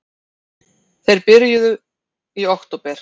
Þeir fyrstu byrjuðu í október